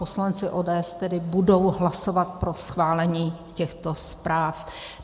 Poslanci ODS tedy budou hlasovat pro schválení těchto zpráv.